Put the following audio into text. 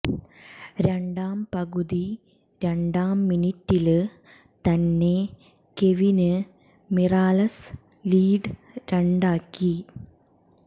രണ്ടാം പകുതി രണ്ടാം മിനിറ്റില് തന്നെ കെവിന് മിറാലസ് ലീഡ് രണ്ടാക്കി